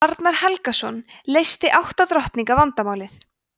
arnar helgason leysti átta drottninga vandamálið